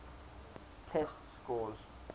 test scores